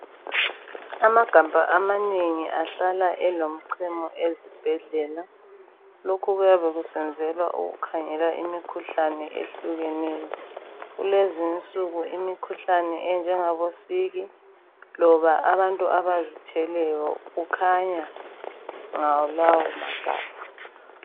Amagabha amanengi ahlala elemichamo ezibhedlela. Lokhu kuyabe kusenzelwa ukukhangela imikhuhlane ehlukeneyo. Kulezinsuku imikhuhlane enjengabo siki loba abantu abazithweleyo kukhanya ngalawo magabha